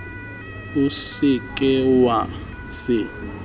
o se ke wa se